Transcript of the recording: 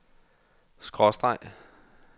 skråstreg